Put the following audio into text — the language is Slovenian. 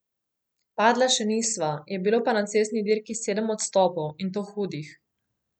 Padla še nisva, je bilo pa na cestni dirki sedem odstopov, in to hudih.